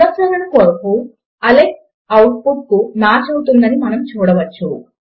పునఃశ్చరణ చేయడము కొరకు Alex output కు మాచ్ అవుతుంది అని మనము చూడవచ్చు